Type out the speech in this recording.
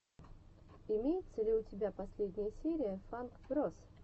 имеется ли у тебя последняя серия фанк броз